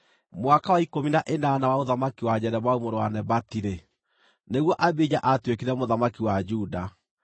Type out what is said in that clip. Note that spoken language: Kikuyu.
Mwaka wa ikũmi na ĩnana wa ũthamaki wa Jeroboamu mũrũ wa Nebati-rĩ, nĩguo Abija aatuĩkire mũthamaki wa Juda,